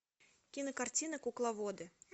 кинокартина кукловоды